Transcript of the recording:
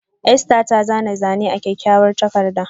Esther ta zana kyakkyawar Zane a takarda.